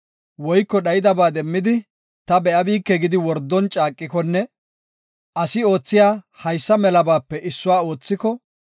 woyko dhayidabaa demmidi ta be7abike gidi wordon caaqikonne asi oothiya haysa melabaape issuwa oothiko,